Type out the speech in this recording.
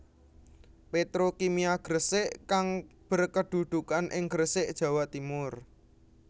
Petrokimia Gresik kang berkedudukan ing Gresik Jawa Timur